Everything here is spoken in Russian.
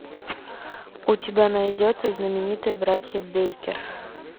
у тебя найдется знаменитые братья бейкер